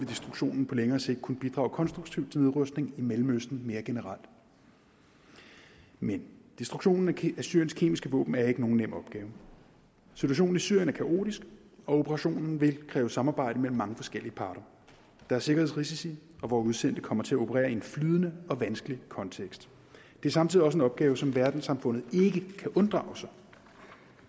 destruktionen på længere sigt kunne bidrage konstruktivt til nedrustning i mellemøsten mere generelt men destruktionen af syriens kemiske våben er ikke nogen nem opgave situationen i syrien er kaotisk og operationen vil kræve samarbejde mellem mange forskellige parter der er sikkerhedsrisici og vore udsendte kommer til at operere i en flydende og vanskelig kontekst det er samtidig også en opgave som verdenssamfundet ikke kan unddrage sig